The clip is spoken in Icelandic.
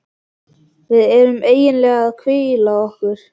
Við erum eiginlega að hvíla okkur.